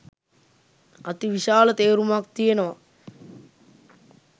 අතිවිශාල තේරුමක් තියෙනවා.